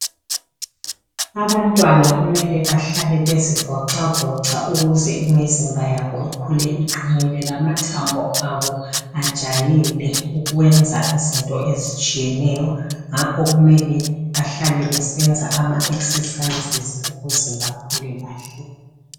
Abantwana kumele bahlale bezivocavoca ukuze imizimba yabo ikhule uqinile lamathambo abo ajayele ukwenza izinto ezitshiyeneyo ngakho kumele bahlale besenza ama exercises ukuze bakhule kahle.